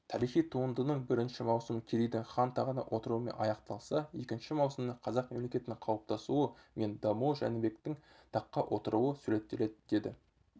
тарихи туындының бірінші маусымы керейдің хан тағына отыруымен аяқталса екінші маусымда қазақ мемлекеттілігінің қалыптасуы мен дамуы жәнібектің таққа отыруы суреттеледі деді